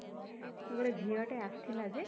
ଗୋଟେ ଝିଅ ଟେ ଆସିଥିଲା ଯେ